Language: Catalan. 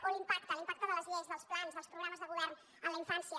o l’impacte l’impacte de les lleis dels plans dels programes de govern en la infància